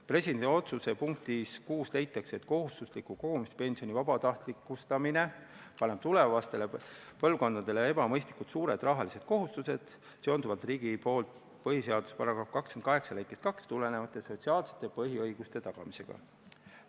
Presidendi otsuse punktis 6 leitakse, et kohustusliku kogumispensioni vabatahtlikustamine paneb tulevastele põlvkondadele ebamõistlikult suured rahalised kohustused, seda seonduvalt riigi poolt põhiseaduse § 28 lõikest 2 tulenevate sotsiaalsete põhiõiguste tagamisega.